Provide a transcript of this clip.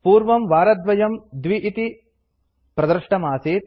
पूर्वं वारद्वयम् २ इति प्रदृष्टमासीत्